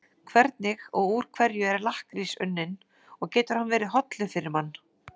Hvernig og úr hverju er lakkrís unninn og getur hann verið hollur fyrir mann?